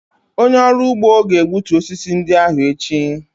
Onye ọrụ ugbo ga-egbutu osisi ndị ahụ echi.